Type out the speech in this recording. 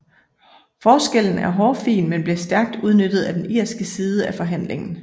Forskellen er hårfin men blev stærkt udnyttet af den irske side af forhandlingen